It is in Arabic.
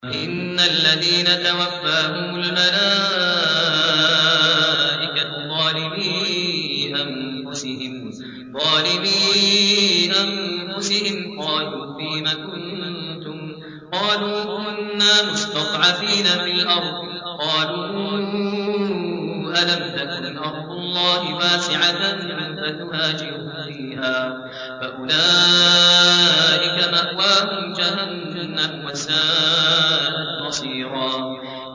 إِنَّ الَّذِينَ تَوَفَّاهُمُ الْمَلَائِكَةُ ظَالِمِي أَنفُسِهِمْ قَالُوا فِيمَ كُنتُمْ ۖ قَالُوا كُنَّا مُسْتَضْعَفِينَ فِي الْأَرْضِ ۚ قَالُوا أَلَمْ تَكُنْ أَرْضُ اللَّهِ وَاسِعَةً فَتُهَاجِرُوا فِيهَا ۚ فَأُولَٰئِكَ مَأْوَاهُمْ جَهَنَّمُ ۖ وَسَاءَتْ مَصِيرًا